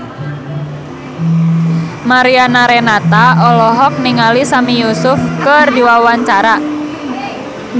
Mariana Renata olohok ningali Sami Yusuf keur diwawancara